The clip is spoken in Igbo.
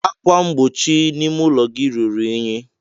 Ákwà mgbochi ime ụlọ gị ruru unyi.